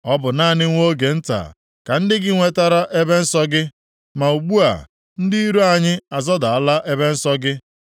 Ọ bụ naanị nwa oge nta ka ndị gị nwetara ebe nsọ gị, ma ugbu a, ndị iro anyị azọdala ebe nsọ gị.